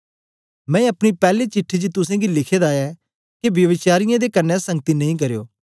मैं अपनी पैली चिट्ठी च तुसेंगी लिखे दा ऐ के ब्यभिचारयें दे कन्ने संगति नेई करयो